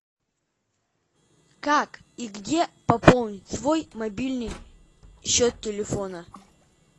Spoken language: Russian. как и где пополнить свой мобильный счет телефона